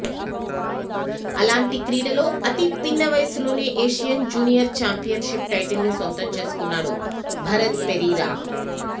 అలాంటి క్రీడలో అతిపిన్న వయసులోనే ఏషియన్ జూనియర్ చాంపియన్షిప్ టైటిల్ను సొంతం చేసుకున్నాడు భరత్ పెరీరా